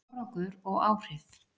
Árangur og áhrif